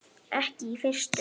Ekki í fyrstu.